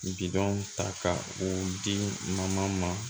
Bidɔn ta ka o di mama ma